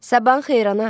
Sabahın xeyir ana.